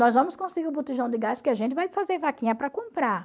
Nós vamos conseguir o botijão de gás, porque a gente vai fazer vaquinha para comprar.